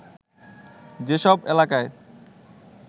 যেসব এলাকায়